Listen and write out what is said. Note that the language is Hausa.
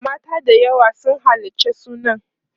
mata da yawa sun halarci sunan